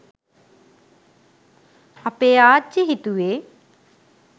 අපේ ආච්චි හිතුවේ